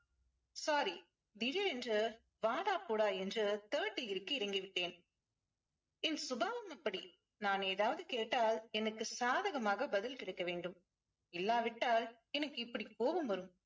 sorry திடீரென்று வாடா போடா என்று third degree க்கு இறங்கிவிட்டேன் என் சுபாவம் அப்படி. நான் ஏதாவது கேட்டால் எனக்கு சாதகமாக பதில் கிடைக்க வேண்டும். இல்லாவிட்டால் எனக்கு இப்படி கோபம் வரும்.